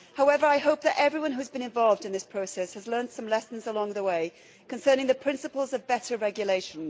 However, I hope that everyone who has been involved in this process has learnt some lessons along the way concerning the principles of better regulation.